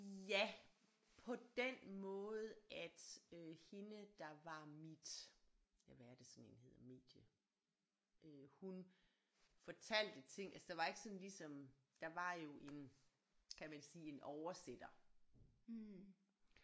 Ja på den måde at øh hende der var mit ja hvad er det sådan en hedder medie øh hun fortalte ting altså der ikke sådan ligesom der var jo en kan man sige en oversætter